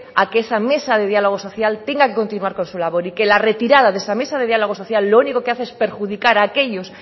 a que esa mesa de diálogo social tenga que continuar con su labor y que la retirada de esa mesa diálogo social lo único que hace es perjudicar a aquellos